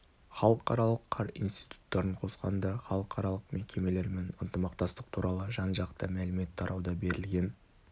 халықаралық қар институттарын қосқанда халықаралық мекемелермен ынтымақтастық туралы жан-жақты мәлімет тарауда берілген